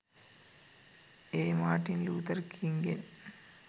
A Martin Luther කිංගෙන්